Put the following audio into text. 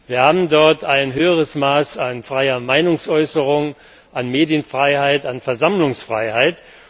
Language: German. Wir haben dort ein höheres Maß an freier Meinungsäußerung, an Medienfreiheit, an Versammlungsfreiheit.